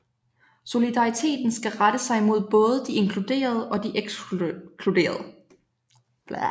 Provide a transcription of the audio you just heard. Solidariteten skal rette sig mod både de inkluderede og de ekskluderede